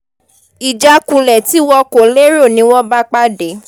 ìjákulẹ̀ tí wọn kò lérò ni wọ́n bá pàdé